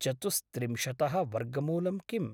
चतुस्त्रिंशतः वर्गमूलं किम्?